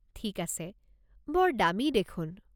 ঠিক আছে। বৰ দামী দেখোন।